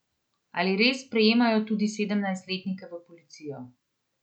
Ali res sprejemajo tudi sedemnajstletnike v policijo?